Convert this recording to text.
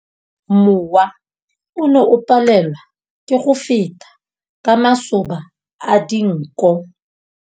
Mowa o ne o palelwa ke go feta ka masoba a dinko.